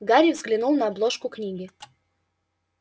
гарри взглянул на обложку книги